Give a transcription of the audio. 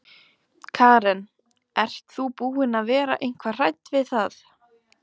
Karen: Ert þú búin að vera eitthvað hrædd við það?